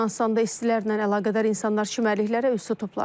Yunanıstanda istilərlə əlaqədar insanlar çimərliklərə üz tutublar.